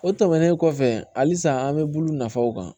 O tɛmɛnen kɔfɛ halisa an bɛ bulu nafaw kan